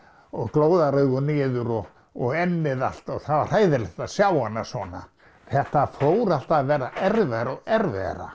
og glóðaraugu niður og og ennið allt og það var hræðilegt að sjá hana svona þetta fór alltaf að verða erfiðara og erfiðara